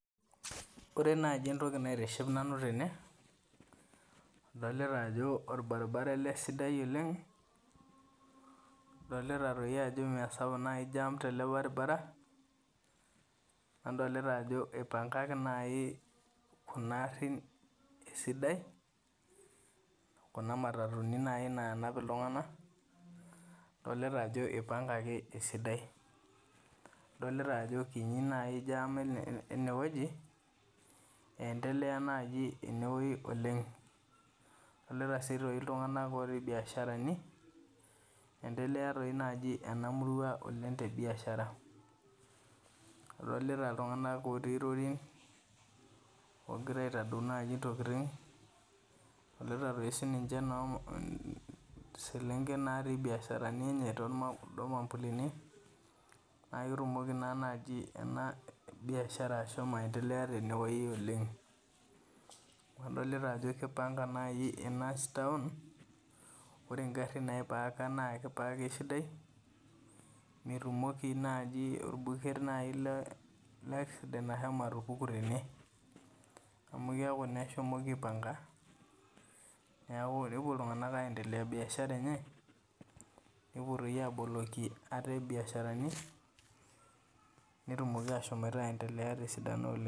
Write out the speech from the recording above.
Ore naji entoki naitiship nanu tene adolita ajo orbaribara ele sidai oleng , adolita ajo mmeesapuk naji jamtele baribara, nadolta ajo ipangaki nai kuna arin esidai , kuna matatuni naji nanap iltunganak , adolta ajo ipangaki esidai . Adolita ajo kini nai jam enewueji , endelea naji inewueji oleng, adolita sii aitoki iltunganak otii biasharani , endelea dii naji enamurua oleng tebiashara, adolita iltunganak otii rorin , ogira aitadou naji ntokitin , adolita sii na selenken natii biasharani enye naa ketumoki naa naji enabiashara ashomo aendelea tenewuji oleng . Adolita aji kipangana enastore , ore nagrin naipaka naa kipaaka esidai , metumoki nai orbuket leaccident ashomo atupuku tene amu keaku naa eshomoki aipanka niaku naa ewuo iltunganak aendelea biashara enye , nepuo doi aboloki ate biashara netumoki ashom aendelea tesidano oleng.